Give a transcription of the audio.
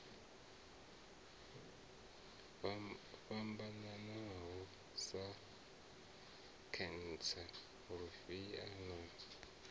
fhambanaho sa khentsa lufhia na